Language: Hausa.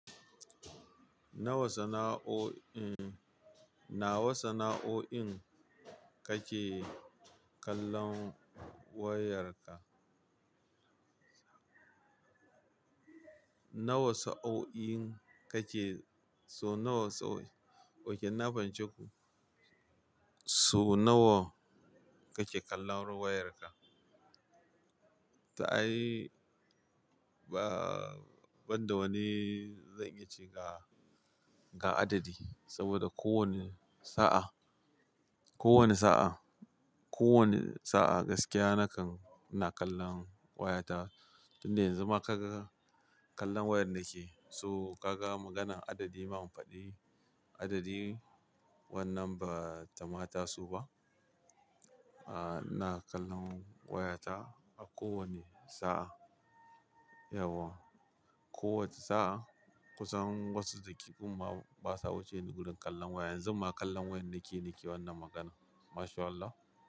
Na wa sana'o'in, na wa sana'o'in kake kallon wayarka? Na wa sa'o'in kake-- so na wa sana'o'in, ok inna fahimce ku, so nawa kake kallon wayarka? To ai, ba, ban da wani zan iya ce ga, ga adadi saboda kowane sa'a, kowane sa'a, kowane sa'a gaskiya nakan ina kallon wayata. Tun da yanzu ma ka ga kallon wayar nake. So ka ga maganar adadi ba mu fadi adadi wannan ba ta ma taso ba. Ah, ina kallon wayata a kowane sa'a. Yauwa, kowace sa'a kusan wasu dakikun ma basa wuce ni gurun kallon waya. Yanzu ma kallon wayar nake nake wannan magana. Mashallah.